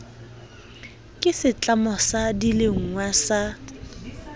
ke setlamo sa dilengwa sa